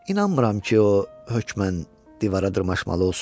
İnanmıram ki, o hökmən divara dırmaşmalı olsun.